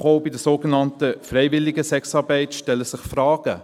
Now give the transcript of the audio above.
Doch auch bei der sogenannten freiwilligen Sexarbeit stellen sich Fragen.